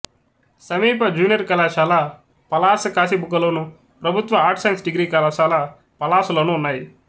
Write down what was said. సమీప జూనియర్ కళాశాల పలాసకాశీబుగ్గలోను ప్రభుత్వ ఆర్ట్స్ సైన్స్ డిగ్రీ కళాశాల పలాసలోనూ ఉన్నాయి